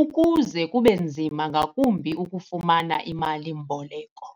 ukuze kube nzima ngakumbi ukufumana imali-mboleko.